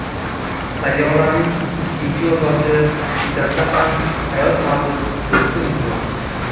Sayyoraning ikkinchi yo‘ldoshi Titanda ham hayot mavjud bo‘lishi mumkin.